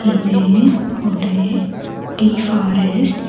இது ஒரு tea forest .